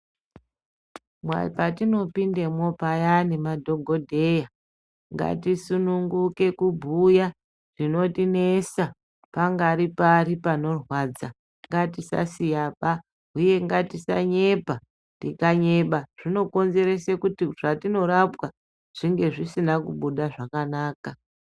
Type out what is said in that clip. Parinopindemwo payani madhokodheya ngatisungunuke kubhuya zvinotinesa pangari pari panorwadza ngatisasiyaba uye ngatisanyepa tinganyeba zvinokonzese zvatinorapwa zvinge zvisina kubuda zvakanaka.